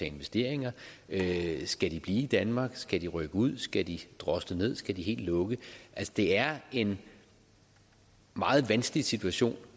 investeringer skal de blive i danmark skal de rykke ud skal de drosle ned skal de helt lukke altså det er en meget vanskelig situation